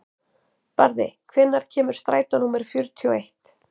Barði, hvenær kemur strætó númer fjörutíu og eitt?